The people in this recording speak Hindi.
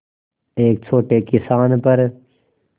एक छोटे किसान पर